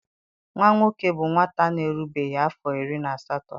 Nwa nwoke bụ nwata na-erubeghị afọ iri na asatọ.